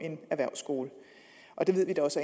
erhvervsskoler det ved vi også